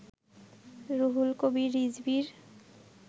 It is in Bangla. রুহুল কবির রিজভীর